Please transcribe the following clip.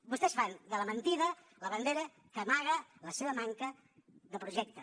vostès fan de la mentida la bandera que amaga la seva manca de projecte